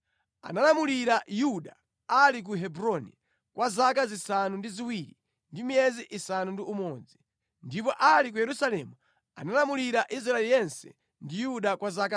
Analamulira Yuda ali ku Hebroni kwa zaka zisanu ndi ziwiri ndi miyezi isanu ndi umodzi, ndipo ali ku Yerusalemu analamulira Israeli yense ndi Yuda kwa zaka 33.